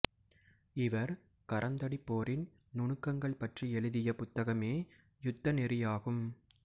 இவர் கரந்தடிப் போரின் நுணுக்கங்கள் பற்றி எழுதிய புத்தகமே யுத்த நெறியாகும்